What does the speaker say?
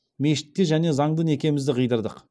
мешітте және заңды некемізді қидырдық